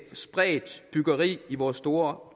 spredt byggeri i vores store